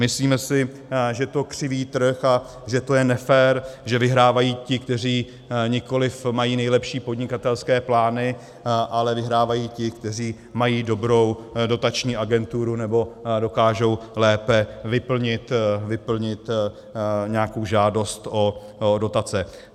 Myslíme si, že to křiví trh a že to je nefér, že vyhrávají ti, kteří nikoliv mají nejlepší podnikatelské plány, ale vyhrávají ti, kteří mají dobrou dotační agenturu nebo dokážou lépe vyplnit nějakou žádost o dotace.